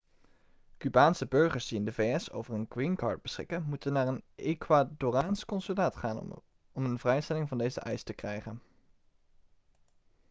cubaanse burgers die in de vs over een green card beschikken moeten naar een ecuadoraans consulaat gaan om een vrijstelling van deze eis te krijgen